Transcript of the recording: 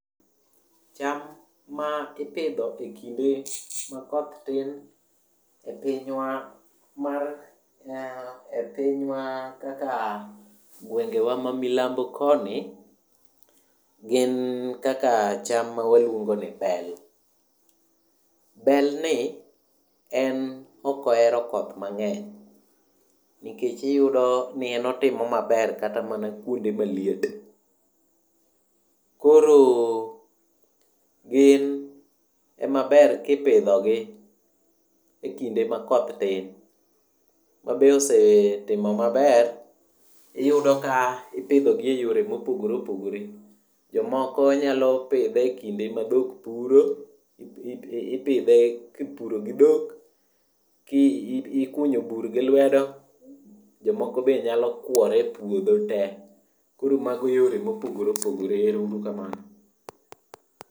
Cham ma ipidho kinde ma koth tin e pinywa mar kaka e gwengewa ma milambo koni gin kaka cham mawalwongo ni bel. Belni en ok ohero koth mang'eny nikech iyudo ni en otimo maber kata mana kuonde maliet. Koro gin emaber kipidhogi e kinde ma koth tin, mabe osetimo maber. Iyudo ka ipidhogi e yore mopogre opogre. Jomoko nyalo pure e kinde madhok puro, ipidhe kipuro gi dhok. Ikunyo bur gi lwedo. Jomoko bende nyalo kuore e puodho te. Koro mago yore mopogore opogore. Ero uru kamano.